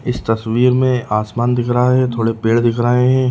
इस तस्वीर में आसमान दिख रहा है। थोड़े पेड़ दिख रहे है।